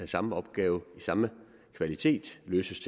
samme opgave i samme kvalitet løses